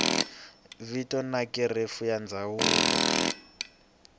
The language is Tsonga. vito na kherefu ya ndzawulo